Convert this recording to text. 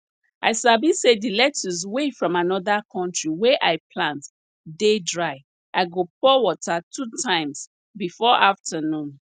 i sabi say di lettuce wey from anoda country wey i plant dey dry i go pour water two times before afternoon